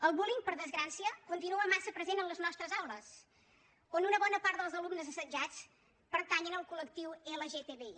el bullying per desgràcia continua massa present a les nostres aules on una bona part dels alumnes assetjats pertanyen al col·lectiu lgtbi